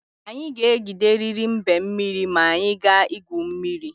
Anyị ga-egideriri mbe mmiri ma anyị gaa igwu mmiri.